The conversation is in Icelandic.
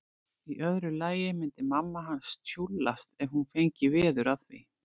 Í öðru lagi myndi mamma hans tjúllast ef hún fengi veður af því.